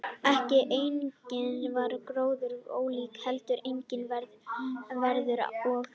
Ekki einungis var gróðurfarið ólíkt heldur einnig veðurfar og fæðuframboð.